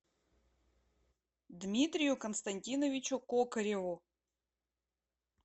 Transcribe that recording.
дмитрию константиновичу кокореву